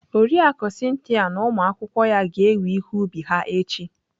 Oriakụ Cynthia na ụmụ akwụkwọ ya ga-ewe ihe ubi ha echi.